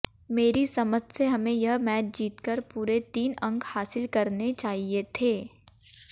मेरी समझ से हमें यह मैच जीतकर पूरे तीन अंक हासिल करने चाहिए थे